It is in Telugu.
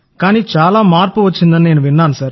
కానీ చాలా మార్పు వచ్చిందని నేను విన్నాను